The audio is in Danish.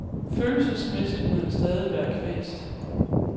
Følelsesmæssigt må han stadig være kvast.